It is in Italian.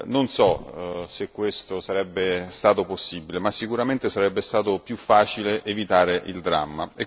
Non so se questo sarebbe stato possibile, ma sicuramente sarebbe stato più facile evitare il dramma.